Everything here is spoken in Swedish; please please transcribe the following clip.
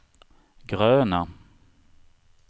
gröna